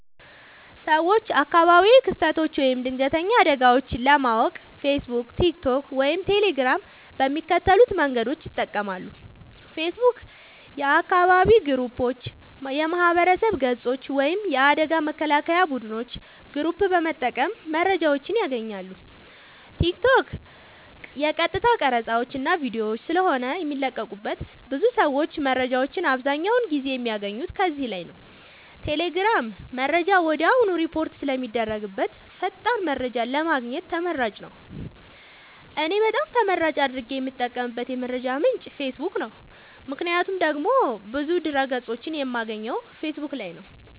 ሰወች አካባቢያዊ ክስተቶች ወይም ድንገተኛ አደጋወች ለማወቅ ፌሰቡክ ቲክቶክ ወይም ቴሌግራም በሚከተሉት መንገዶች ይጠቀማሉ ፌሰቡክ :- የአካባቢ ግሩፖች የማህበረሰብ ገፆች ወይም የአደጋ መከላከያ ቡድኖች ግሩፕ በመጠቀም መረጃወችን ያገኛሉ ቲክቶክ :- የቀጥታ ቀረፃወች እና ቪዲዮወች ስለሆነ የሚለቀቁበት ብዙ ሰወች መረጃወችን አብዛኛውን ጊዜ የሚያገኙት ከዚህ ላይ ነዉ ቴሌግራም :-መረጃ ወድያውኑ ሪፖርት ስለሚደረግበት ፈጣን መረጃን ለማግኘት ተመራጭ ነዉ። እኔ በጣም ተመራጭ አድርጌ የምጠቀምበት የመረጃ ምንጭ ፌሰቡክ ነዉ ምክንያቱም ደግሞ ብዙ ድህረ ገፆችን የማገኘው ፌሰቡክ ላይ ነዉ